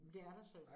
Men det er da synd